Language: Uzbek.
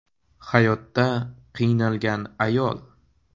hayotda qiynalgan ayol.